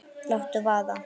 Láttu vaða